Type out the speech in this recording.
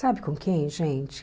Sabe com quem, gente?